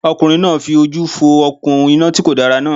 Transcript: Ọkùnrin náà fi ojú fo òkun iná ti kòdára náà